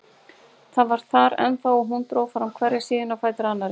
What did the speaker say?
Það var þar ennþá og hún dró fram hverja síðuna á fætur annarri.